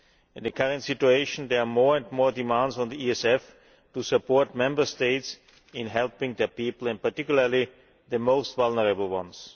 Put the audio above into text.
In the current situation there are more and more demands on the ESF to support Member States in helping their people and particularly the most vulnerable ones.